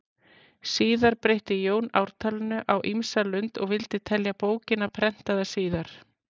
Síðar breytti Jón ártalinu á ýmsa lund og vildi telja bókina prentaða síðar.